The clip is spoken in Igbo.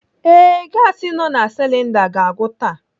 Ee, gasi nọ na silinda ga-agwụ taa.